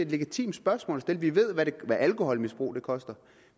legitimt spørgsmål at stille vi ved hvad alkoholmisbrug koster